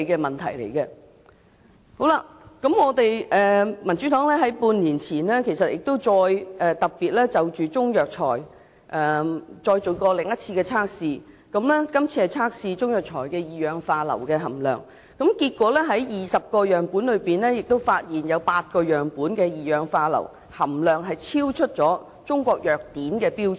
民主黨在半年前亦特別就中藥材再進行另一項測試，以測試中藥材中二氧化硫的含量，結果在20個樣本中發現8個樣本的二氧化硫含量超出《中國藥典》的標準。